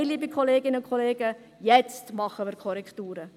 Nein, liebe Kolleginnen und Kollegen: Jetzt machen wir Korrekturen!